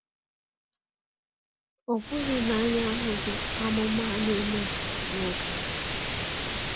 Ọ̀ bụghị na anyị ahụghị amụma a na-emezu n’oge anyị?